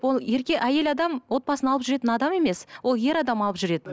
ол әйел адам отбасын алып жүретін адам емес ол ер адам алып жүреді